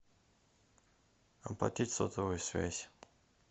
оплатить сотовую связь